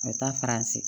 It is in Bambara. A bɛ taa faransi